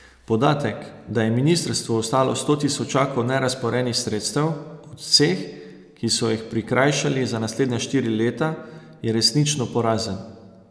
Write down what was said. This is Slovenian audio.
Podatek, da je ministrstvu ostalo sto tisočakov nerazporejenih sredstev, ob vseh, ki so jih prikrajšali za naslednja štiri leta, je resnično porazen.